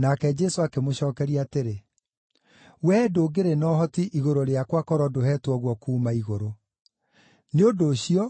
Nake Jesũ akĩmũcookeria atĩrĩ, “Wee ndũngĩrĩ na ũhoti igũrũ rĩakwa korwo ndũheetwo guo kuuma igũrũ. Nĩ ũndũ ũcio